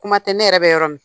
Kuma tɛ ne yɛrɛ bɛ yɔrɔ min;